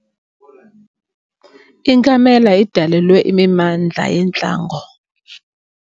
Inkamela idalelwe imimandla yentlango.